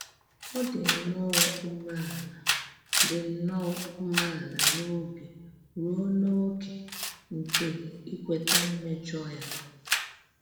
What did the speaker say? Ọ dị̀ nnọọ ùméàlà dị̀ nnọọ ùméàlà n’òbì ruo n’ókè nke íkwèta mméjọ́ ya.